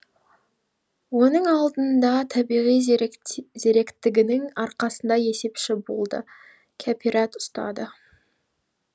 оның алдында табиғи зеректігінің арқасында есепші болды кәпирәт ұстады